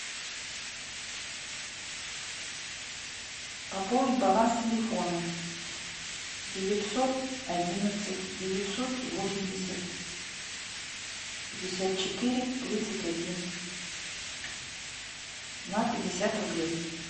пополнить баланс телефона девятьсот одиннадцать девятьсот восемьдесят пятьдесят четыре тридцать один на пятьдесят рублей